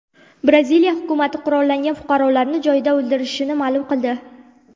Braziliya hukumati qurollangan fuqarolarni joyida o‘ldirilishini ma’lum qildi.